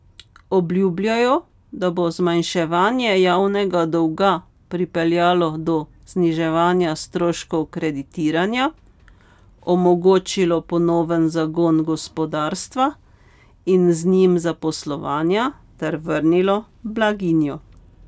Obljubljajo, da bo zmanjševanje javnega dolga pripeljalo do zniževanja stroškov kreditiranja, omogočilo ponoven zagon gospodarstva in z njim zaposlovanja ter vrnilo blaginjo.